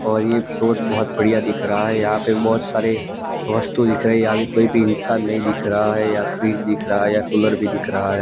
और ये एपिसोड बहुत बढ़िया दिख रहा है यहां पे बहुत सारे वस्तु दिख रही यहां पे कोई भी इंसान नहीं दिख रहा है या फ्रिज दिख रहा है या कूलर भी दिख रहा है।